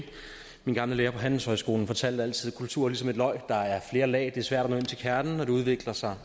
min gamle lærer på handelshøjskolen fortalte altid at kultur er ligesom et løg der er flere lag det svært at nå ind til kernen og det udvikler sig